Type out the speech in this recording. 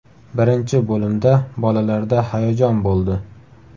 Birinchi bo‘limda bolalarda hayajon bo‘ldi.